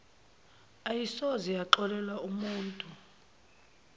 ayisoze yaxolela umutu